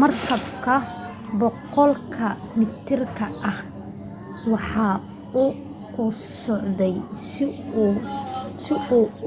markabka 100 ka mitirka ah waxa uu ku socday si uu